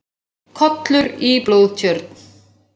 Kollur í blóðtjörn.